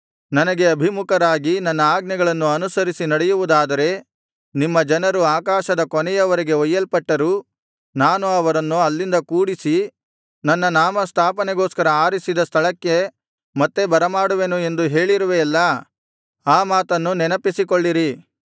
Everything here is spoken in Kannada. ನನಗೆ ಅಭಿಮುಖರಾಗಿ ನನ್ನ ಆಜ್ಞೆಗಳನ್ನು ಅನುಸರಿಸಿ ನಡೆಯುವುದಾದರೆ ನಿಮ್ಮ ಜನರು ಆಕಾಶದ ಕೊನೆಯವರೆಗೆ ಒಯ್ಯಲ್ಪಟ್ಟರೂ ನಾನು ಅವರನ್ನು ಅಲ್ಲಿಂದ ಕೂಡಿಸಿ ನನ್ನ ನಾಮಸ್ಥಾಪನೆಗೋಸ್ಕರ ಆರಿಸಿದ ಸ್ಥಳಕ್ಕೆ ಮತ್ತೆ ಬರಮಾಡುವೆನು ಎಂದು ಹೇಳಿರುವೆಯಲ್ಲಾ ಆ ಮಾತನ್ನು ಸ್ಮರಿಸಿರಿ